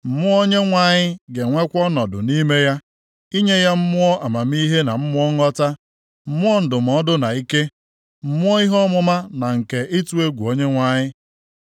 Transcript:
Mmụọ Onyenwe anyị ga-enwekwa ọnọdụ nʼime ya, inye ya Mmụọ amamihe na Mmụọ nghọta, Mmụọ ndụmọdụ na ike, Mmụọ ihe ọmụma na nke ịtụ egwu Onyenwe anyị.